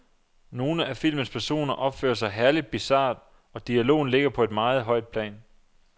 Nogle af filmens personer opfører sig herligt bizart, og dialogen ligger på et meget højt plan.